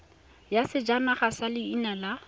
ya sejanaga ya leina la